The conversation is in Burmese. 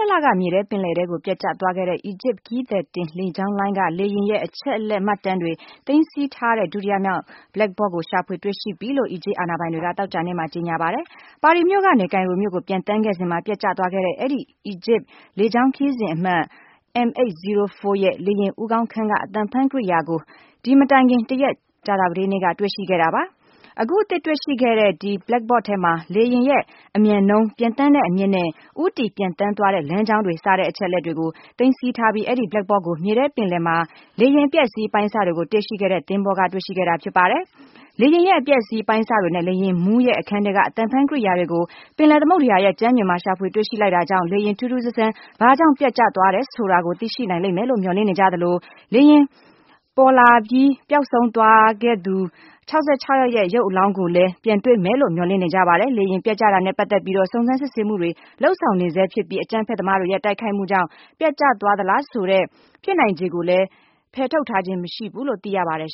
လက မြေထဲပင်လယ်ထဲကို ပျက်ကျသွားခဲ့တဲ့ အီဂျစ် ခရီးသည် တင်လေကြောင်းလိုင်း က လေယာဉ်ရဲ့ အချက်အလက်မှတ်တမ်းတွေ သိမ်းဆည်း ထားတဲ့ ဒုတိယမြောက် Black Box ကို ရှာဖွေတွေ့ရှိပြီလို့ အီဂျစ် အာဏာပိုင်တွေ က သောကြာနေ့မှာ ကြေညာပါတယ်။ ပဲရစ်မြို့ကနေ ကိုင်ရိုမြို့ကို ပျံသန်းခဲ့စဉ်မှာ ပျက်ကျသွားတဲ့ အဲဒီ အီဂျစ်လေကြောင်း ခရီးစဉ်အမှတ် M804 ရဲ့ လေယာဉ်ဦးခေါင်းခန်းက အသံဖမ်းကိရိယာ ကို ဒီမတိုင်ခင် တရက် ကြာသပတေးနေ့က တွေ့ရှိခဲ့တာပါ။ အခုအသစ်တွေရှိတဲ့ ဒီ Black Box ထဲမှာ လေယောဉ်ရဲ့ အမြန်နှုန်း၊ ပျံသန်းတဲ့အမြင့် နဲ့ ဦးတည်ပျံသန်းသွားနေတဲ့လမ်းကြောင်းတွေ စတဲ့အချက်အလက်တွေကို သိမ်းဆည်းထားပြီး၊ အဲဒီ Black Box ကို မြေထဲပင်လယ်ထဲ မှာ လေယာဉ် အပျက်အစီးအပိုင်းအစတွေကို တွေ့ရှိခဲ့တဲ့ သင်္ဘောကတွေ့ရှိခဲ့တာဖြစ်ပါတယ်။ လေယာဉ်ရဲ့ အပျက်အစီးအပိုင်းအစတွေ နဲ့ လေယာဉ်မှူးရဲ့ အခန်းထဲက အသံဖမ်းကိရိယာကို ပင်လယ်သမုဒ္ဒရာရဲ့ ကြမ်းပြင်မှာ ရှာဖွေတွေ့ရှိ လိုက်တာကြောင့် လေယာဉ် ထူးထူးဆန်းဆန်း ဘာကြောင့် ပျက်ကျသွားတယ် ဆိုတာကိုသိရှိနိုင်လိမ့်မယ်လို့ မျှော်လင့်နေကြသလို၊ လေယာဉ်ပေါ်ပါလာပြီး ပျောက်ဆုံးသွားတဲ့လူ ၆၆ ယောက်ရဲ့ ရုပ်အလောင်းတွေကို လည်း ပြန်တွေ့မယ်လို့ မျှော်လင့်နေကြပါတယ်။ လေယာဉ်ပျက်ကျတာနဲ့ ပတ်သက်ပြီးတော့ စုံစမ်းစစ်ဆေးမှုတွေ လုပ်ဆောင်နေ ဆဲဖြစ်ပြီး အကြမ်းဖက်သမားတွေရဲ့ တိုက်ခိုက်မှုကြောင့် ပျက်ကျသွားသလား ဆိုတဲ့ ဖြစ်နိုင်ခြေကိုလည်း ဖယ်ထုတ်ထားခြင်းမရှိဘူးလို့ သိရပါတယ်